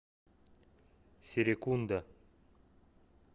серекунда